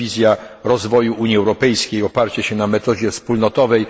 Jest to wizja rozwoju Unii Europejskiej, oparcie się na metodzie wspólnotowej.